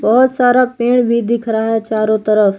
बहोत सारा पेड़ भी दिख रहा है चारों तरफ।